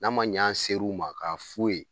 N'a ma ɲɛ an ser'u ma k'a f'u ye